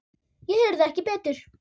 Ég heyrði ekki betur.